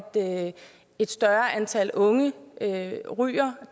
et større antal unge ryger og